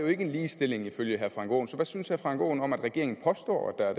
er en ligestilling ifølge herre frank aaen så hvad synes herre frank aaen om at regeringen påstår at